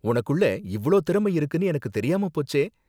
உனக்குள்ள இவ்ளோ திறமை இருக்குனு எனக்கு தெரியாம போச்சே.